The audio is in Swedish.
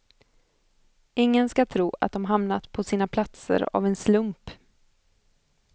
Ingen ska tro att de hamnat på sina platser av en slump.